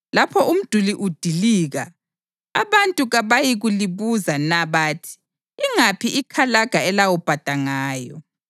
Lapho umduli udilika, abantu kabayikulibuza na bathi, “Ingaphi ikalaga elawubhada ngayo?”